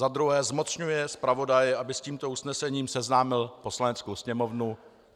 Za druhé zmocňuje zpravodaje, aby s tímto usnesením seznámil Poslaneckou sněmovnu.